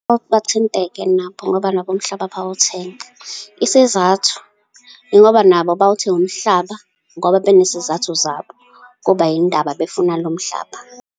Bake bathinteke nabo, ngoba nabo umhlaba bayawuthenga. Isizathu, yingoba nabo bawuthenga umhlaba ngoba benesizathu zabo, kuba yin'ndaba befuna lo mhlaba.